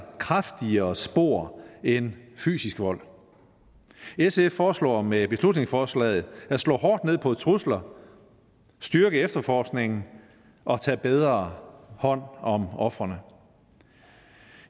kraftigere spor end fysisk vold sf foreslår med beslutningsforslaget at slå hårdt ned på trusler styrke efterforskningen og tage bedre hånd om ofrene